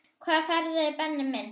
Hvaða ferðir Benni minn?